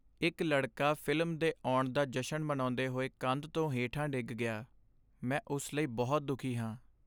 ਇੱਕ ਲੜਕਾ ਫਿਲਮ ਦੇ ਆਉਣ ਦਾ ਜਸ਼ਨ ਮਨਾਉਂਦੇ ਹੋਏ ਕੰਧ ਤੋਂ ਹੇਠਾਂ ਡਿੱਗ ਗਿਆ। ਮੈਂ ਉਸ ਲਈ ਬਹੁਤ ਦੁਖੀ ਹਾਂ।